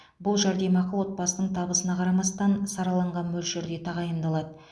бұл жәрдемақы отбасының табысына қарамастан сараланған мөлшерде тағайындалады